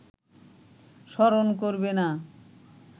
স্মরণ করবে না